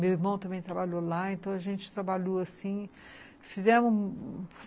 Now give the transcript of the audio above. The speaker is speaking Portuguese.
Meu irmão também trabalhou lá, então a gente trabalhou assim.